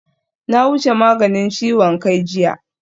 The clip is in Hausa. Na wuce maganin ciwon kai jiya